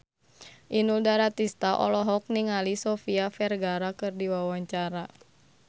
Inul Daratista olohok ningali Sofia Vergara keur diwawancara